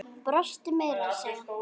Brostu meira að segja.